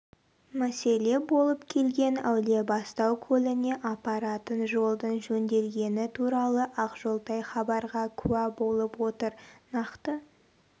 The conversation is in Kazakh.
мәселе болып келген әулиебастау көліне апаратын жолдың жөнделгені туралы ақжолтай хабарға куә болып отыр нақты